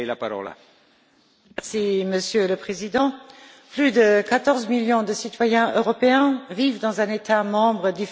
Monsieur le Président, plus de 14 millions de citoyens européens vivent dans un État membre différent de leur État d'origine.